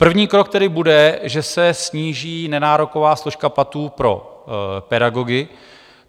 První krok tedy bude, že se sníží nenároková složka platů pro pedagogy.